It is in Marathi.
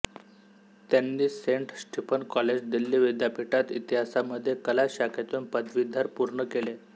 त्यांनी सेंट स्टीफन्स कॉलेज दिल्ली विद्यापीठात इतिहासामध्ये कला शाखेतून पदवीधर पूर्ण केले